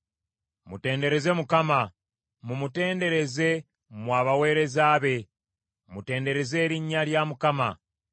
Mutendereze Mukama ! Mumutendereze, mmwe abaweereza be, mutendereze erinnya lya Mukama .